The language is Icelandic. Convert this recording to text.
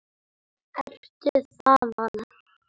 Ertu þaðan?